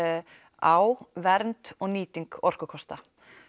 á vernd og nýting orkukosta